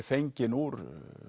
fengin úr